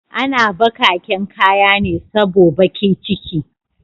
Ana bakaken kayane sabo bakiciki